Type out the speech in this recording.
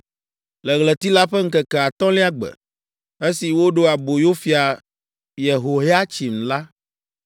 Le ɣleti la ƒe ŋkeke atɔ̃lia gbe, esi woɖe aboyo Fia Yehoyatsin la,